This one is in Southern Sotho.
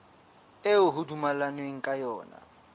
eo ho dumellanweng ka yona